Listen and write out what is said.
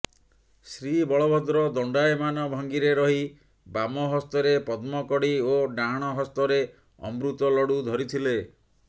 ଶ୍ରୀବଳଭଦ୍ର ଦଣ୍ଡାୟମାନ ଭଙ୍ଗୀରେ ରହି ବାମହସ୍ତରେ ପଦ୍ମକଢି ଓ ଡାହାଣ ହସ୍ତରେ ଅମୃତ ଲଡୁ ଧରିଥିଲେ